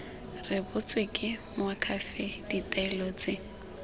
rebotswe ke moakhaefe ditaelo tse